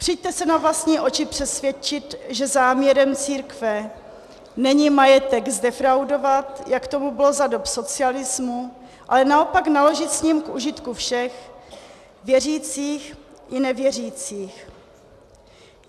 Přijďte se na vlastní oči přesvědčit, že záměrem církve není majetek zdefraudovat, jak tomu bylo za dob socialismu, ale naopak naložit s ním k užitku všech, věřících i nevěřících.